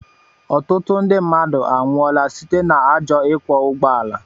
Ọtụtụ ndị mmadụ anwụọla site na ajọ ikwo ụgbọala